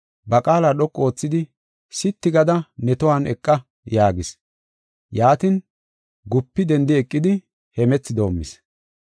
ba qaala dhoqu oothidi, “Sitti gada ne tohuwan eqa” yaagis. Yaatin, gupi dendi eqidi hemethi doomis.